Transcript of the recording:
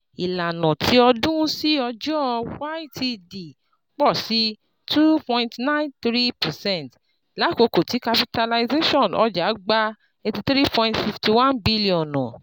Ilana ti ọdun si ọjọ (YTD) pọ si two point nine three percent, lakoko ti capitalization ọja gba N eighty three point five one bilionu